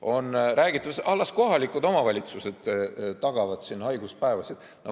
On räägitud, et las kohalikud omavalitsused tagavad haiguspäevasid.